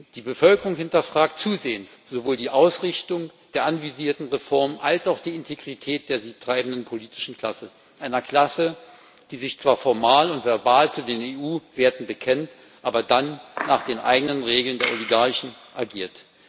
Die Bevölkerung hinterfragt zusehends sowohl die Ausrichtung der anvisierten Reformen als auch die Integrität der sie treibenden politischen Klasse, einer Klasse, die sich zwar formal und verbal zu den EU Werten bekennt, aber dann nach den eigenen Regeln der Oligarchen agiert.